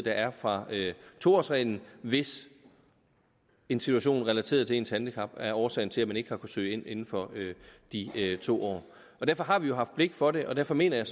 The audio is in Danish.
er fra to årsreglen hvis en situation relateret til ens handicap er årsagen til at man ikke har søge ind inden for de to år derfor har vi jo haft blik for det og derfor mener jeg